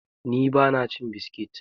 ni ba ma cin biskit!